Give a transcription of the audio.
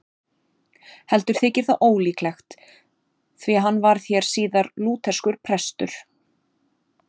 Heldur þykir það ólíklegt, því að hann varð hér síðar lútherskur prestur.